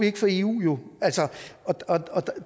ikke for eu